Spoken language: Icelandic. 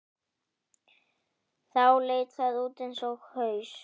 Þá leit það út eins og haus.